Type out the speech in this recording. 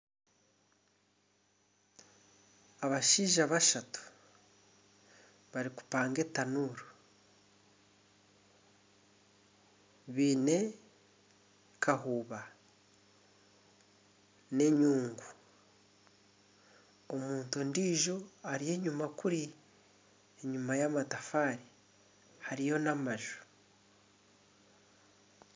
Abashaija bashatu barikupanga etanuuru baine kahumba n'enyungu omuntu ondiijo ari enyima kuri enyuma y'amatafaari hariyo n'amaju